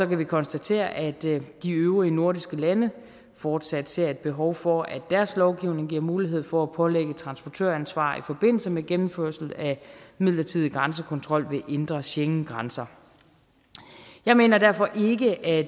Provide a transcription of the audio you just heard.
vi konstatere at de øvrige nordiske lande fortsat ser et behov for at deres lovgivning giver mulighed for at pålægge transportøransvar i forbindelse med gennemførelse af midlertidig grænsekontrol ved indre schengengrænser jeg mener derfor ikke at